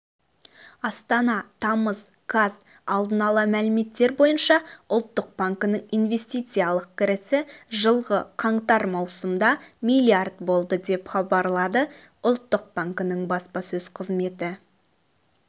астана тамыз қаз алдын ала мәліметтер бойынша ұлттық банкінің инвестициялық кірісі жылғы қаңтар-маусымда миллиард болды деп хабарлады ұлттық банкінің баспасөз қызметі